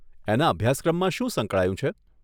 એના અભ્યાસક્રમમાં શું સંકળાયું છે?